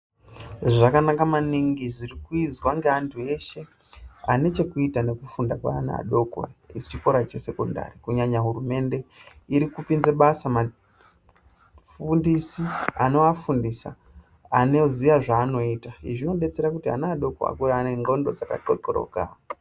Zvakanaka maningi zviri kuizwa neantu eshe ane chekuita nekufunda kwenana adoko echikora sekondari kunyanya hurumende iri kupinzaa basa vafundisi anofundisa anoziya zvaanoita izvi zvodetsera kuti ana adoko akure ane ngonxo dzakaxoxoroka.